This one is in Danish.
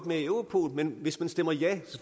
med i europol men hvis man stemmer ja